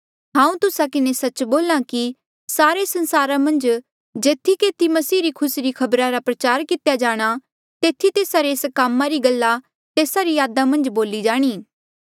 हांऊँ तुस्सा किन्हें सच्च बोल्हा कि सारे संसारा मन्झ जेथी केथी मसीह री खुसी री खबर प्रचार किती जाणी तेथी तेस्सा रे एस कामा री गल्ला तेस्सा री यादा मन्झ बोली जाणी